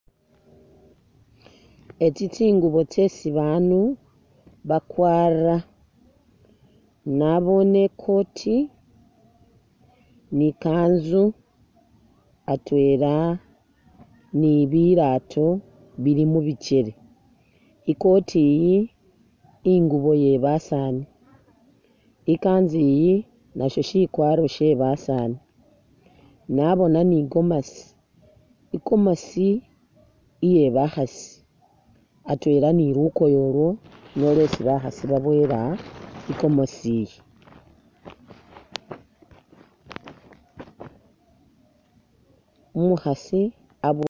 Etsi tsingubo tsesi bandu bakwara, nabone ikoti ni kanzu atwela ni bilato bili mubikyele ikoti yi ingubo yebasani ikanzu yi nayo sikwaro shebasani nabona ni gomasi , igomasi iye bakhaasi atwela ni lukoye ulwo nilwo lwesi bakhasi baboyela igomasi , umukhasi